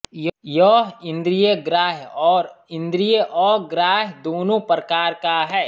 यह इन्द्रिय ग्राह्य और इन्द्रियअग्राह्य दोनों प्रकार का है